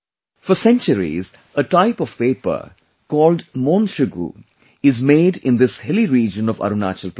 For centuries a type of paper called 'Mon Shugu' is made in this hilly region of Arunachal Pradesh